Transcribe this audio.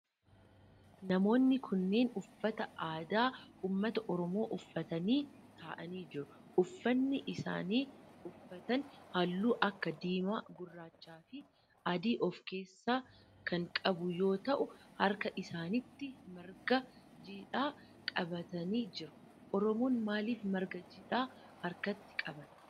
Namoonni kunneen uffata aadaa ummata oromoo uffatanii ta'aanii jiru. Uffanni isaan uffatan halluu akka diimaa, gurraachaa fi adii of keessaa kan qabu yoo ta'u harka isaanitti marga jiidhaa qabatanii jiru. Oromoon maalif marga jiidhaa harkatti qabata?